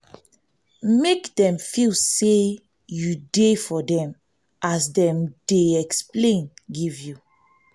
make dem feel say you de for dem as dem de explain give you